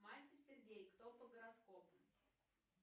мальцев сергей кто по гороскопу